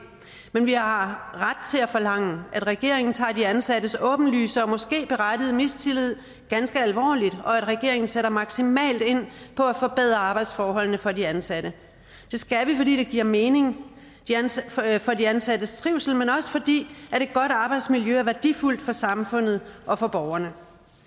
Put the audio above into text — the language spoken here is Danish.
men vi har ret til at forlange at regeringen tager de ansattes åbenlyse og måske berettigede mistillid ganske alvorligt og at regeringen sætter maksimalt ind på at forbedre arbejdsforholdene for de ansatte det skal vi fordi det giver mening for de ansattes trivsel men også fordi et godt arbejdsmiljø er værdifuldt for samfundet og for borgerne